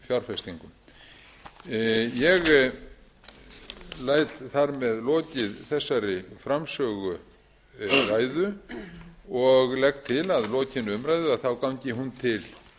fjárfestingum ég læt þar með lokið þessari framsöguræðu og legg til að að lokinni umræðu gangi hún til